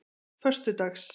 föstudags